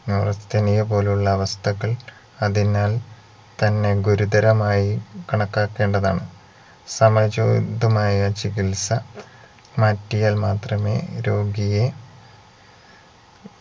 neurasthenia പോലുള്ള അവസ്ഥകൾ അതിനാൽ തന്നെ ഗുരുതരമായി കണക്കാക്കേണ്ടതാണ് സമചോദിതമായ ചികിത്സ മാറ്റിയാൽ മാത്രമേ രോഗിയെ